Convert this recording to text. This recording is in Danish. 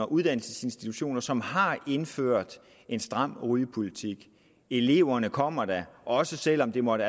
uddannelsesinstitutioner som har indført en stram rygepolitik eleverne kommer da også selv om det måtte